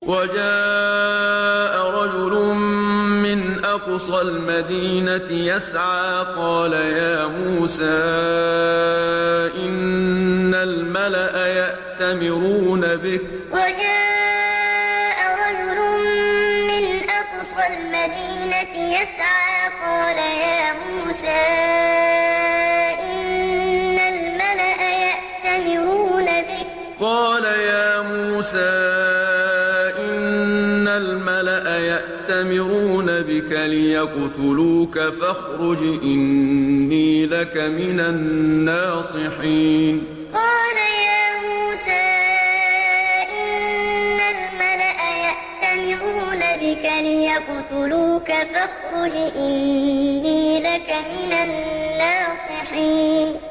وَجَاءَ رَجُلٌ مِّنْ أَقْصَى الْمَدِينَةِ يَسْعَىٰ قَالَ يَا مُوسَىٰ إِنَّ الْمَلَأَ يَأْتَمِرُونَ بِكَ لِيَقْتُلُوكَ فَاخْرُجْ إِنِّي لَكَ مِنَ النَّاصِحِينَ وَجَاءَ رَجُلٌ مِّنْ أَقْصَى الْمَدِينَةِ يَسْعَىٰ قَالَ يَا مُوسَىٰ إِنَّ الْمَلَأَ يَأْتَمِرُونَ بِكَ لِيَقْتُلُوكَ فَاخْرُجْ إِنِّي لَكَ مِنَ النَّاصِحِينَ